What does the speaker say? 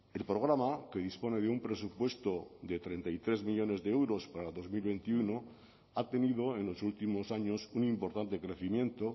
el programa que dispone de un presupuesto de treinta y tres millónes de euros para dos mil veintiuno ha tenido en los últimos años un importante crecimiento